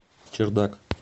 чердак